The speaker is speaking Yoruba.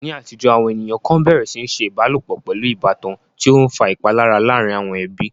Ní àtijọ́, àwọn ènìyàn kan bẹ̀rẹ̀ sí ní ṣe ìbálòpọ̀ pẹ̀lú ìbátan, tí ó ń fa ìpalára láàárín àwọn ẹbí.